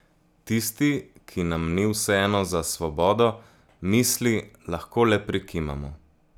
Tisti, ki nam ni vseeno za svobodo misli, lahko le prikimamo.